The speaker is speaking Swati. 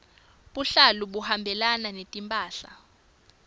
buhlalu buhambelana netimphahla